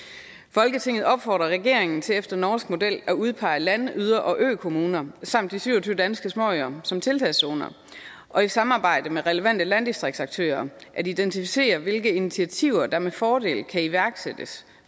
folketinget opfordrer regeringen til efter norsk model at udpege land yder og ø kommuner samt de syv og tyve danske småøer som tiltagszoner og i samarbejde med relevante landdistriktsaktører at identificere hvilke initiativer der med fordel kan iværksættes